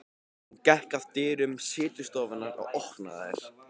Hún gekk að dyrum setustofunnar og opnaði þær.